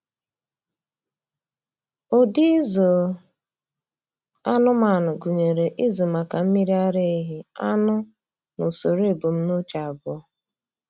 Ụdị ịzụ anụmanụ gụnyere ịzụ maka mmiri ara ehi, anụ, na usoro ebumnuche abụọ.